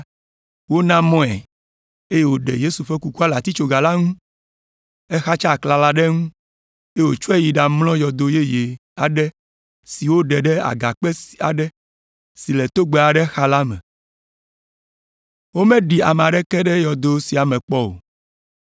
Wona mɔe, eye wòɖe Yesu ƒe kukua le atitsoga la ŋu. Exatsa aklala ɖe eŋu, eye wòtsɔe yi ɖamlɔ yɔdo yeye aɖe si woɖe ɖe agakpe aɖe si le togbɛ aɖe xa la me. Womeɖi ame aɖeke ɖe yɔdo sia me kpɔ o.